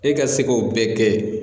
E ka se k'o bɛɛ kɛ.